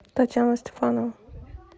татьяна стефанова